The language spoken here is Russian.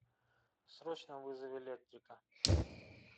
срочно вызови электрика